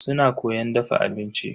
Suna koyan dafa abinci.